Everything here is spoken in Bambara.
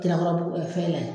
fɛn la yan.